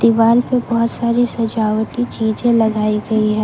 दीवाल पे बहुत सारी सजावटी चीजें लगाई गई है।